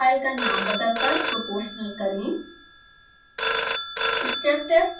stepc file का नाम बदलकर proportional करें